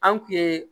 An kun ye